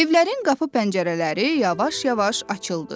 Evlərin qapı pəncərələri yavaş-yavaş açıldı.